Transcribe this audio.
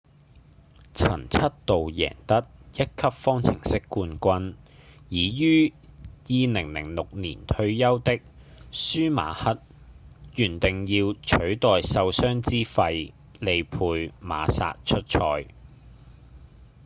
曾七度贏得一級方程式冠軍已於2006年退休的舒馬克原訂要取代受傷之費利佩·馬薩出賽